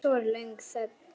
Svo var löng þögn.